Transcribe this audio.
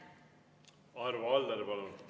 Arvo Aller, palun!